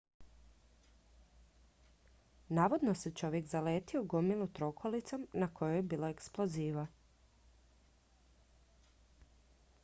navodno se čovjek zaletio u gomilu trokolicom na kojoj je bilo eksploziva